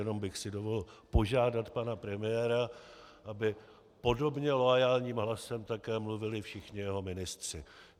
Jenom bych si dovolil požádat pana premiéra, aby podobně loajálním hlasem také mluvili všichni jeho ministři.